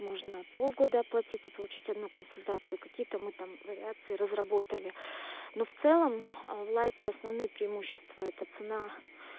можно полгода оплатить и получить одну консультацию какие мы там вариации разработали но в целом в лайте основные преимущества это цена